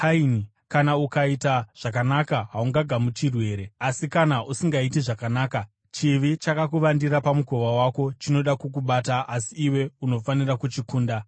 Kana ukaita zvakanaka, haungagamuchirwi here? Asi kana usingaiti zvakanaka, chivi chakakuvandira pamukova wako; chinoda kukubata, asi iwe unofanira kuchikunda.”